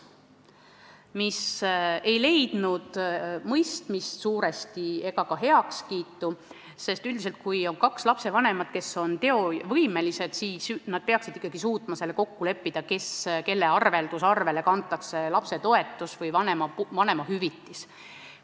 See ei leidnud suuresti mõistmist ega heakskiitu, sest kui on kaks lapsevanemat, kes on teovõimelised, siis nad peaksid ikkagi suutma kokku leppida, kelle arveldusarvele kantakse lapsetoetus või vanemahüvitis.